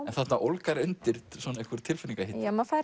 en þarna ólgar undir svona einhver tilfinningahiti maður fer